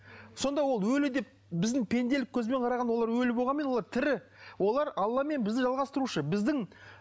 сонда ол өлі деп біздің пенделік көзбен қарағанда олар өлі болғанымен олар тірі олар алламен бізді жалғастырушы біздің